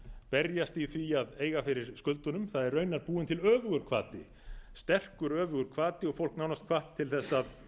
berjast í því að eiga fyrir skuldunum það er raunar búinn til öfugur hvati sterkur öfugur hvati og fólk nánast hvatt til þess að